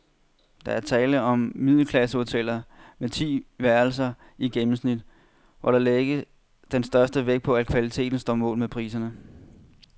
Der er tale om middelklassehoteller med ti værelser i gennemsnit, hvor der lægges den største vægt på, at kvaliteten står mål med priserne.